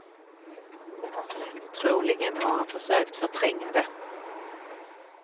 Troligen har han försökt förtränga det.